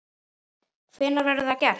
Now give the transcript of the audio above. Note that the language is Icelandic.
Hvenær verður það gert?